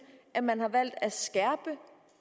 at man har valgt at